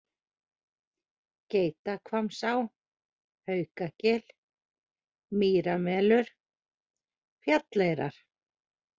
Geitahvammsá, Haukagil, Mýramelur, Fjalleyrar